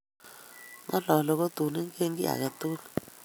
ng'ololi kotu ingen kiy age tugul